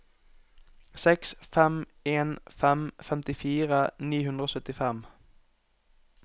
seks fem en fem femtifire ni hundre og syttifem